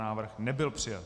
Návrh nebyl přijat.